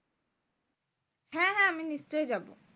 হ্যাঁ হ্যাঁ আমি নিশ্চই যাবো।